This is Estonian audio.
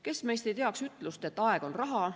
Kes meist ei teaks ütlust, et aeg on raha.